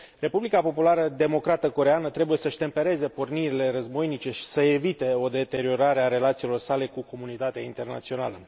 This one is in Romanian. Republica Populară Democrată Coreeană trebuie să își tempereze pornirile războinice și să evite o deteriorare a relațiilor sale cu comunitatea internațională.